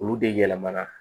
Olu de yɛlɛmana